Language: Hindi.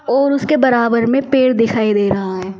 और उसके बराबर में पेड़ दिखाई दे रहा है ।